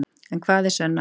En hvað er sönn ást?